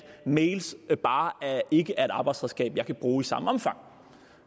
mails bare ikke er et arbejdsredskab jeg kan bruge i samme omfang